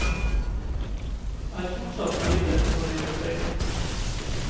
Er fortsatt livredd for å gjøre feil.